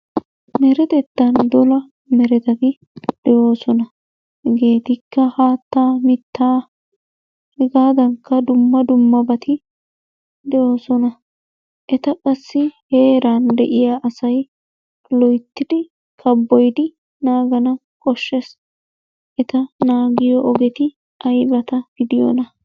Deretettan dola meretati de'oosona. Hegeetikka haattaa, mittaa hegaadankka dumma dummabati de'oosona. Eta qassi heeran de'iya asay loyttidi kabboyidi naagana koshshees. Eta naagiyo ogeti aybata gidiyonaa?